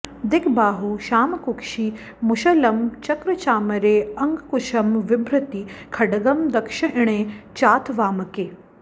दिग्बाहुः क्षामकुक्षि मुशलं चक्रचामरे अङ्कुशं विभ्रती खड्गं दक्श्ःइणे चाथ वामके